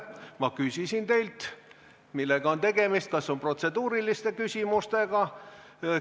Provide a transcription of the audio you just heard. Ma küsisin teilt, millega on tegemist, kas protseduuriliste küsimustega.